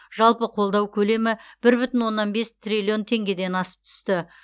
жалпы қолдау көлемі бір бүтін оннан бес триллион теңгеден асып түсті